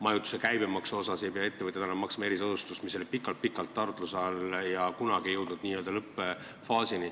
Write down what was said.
Majutuskulude käibemaks – ettevõtjad ei pea enam maksma erisoodustusmaksu, mis oli pikalt-pikalt arutluse all, aga kunagi ei jõudnud n-ö lõppfaasi.